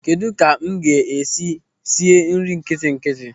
Kedụ ka m ga-esi sie nri nkitinkiti?